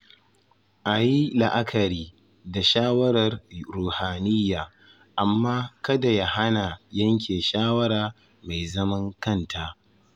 A yi la’akari da shawarar ruhaniya amma kada ya hana yanke shawara mai zaman kanta.